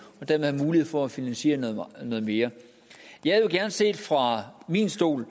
og dermed have mulighed for at finansiere noget mere set fra min stol